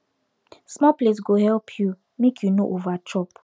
small plate go help you make you no over chop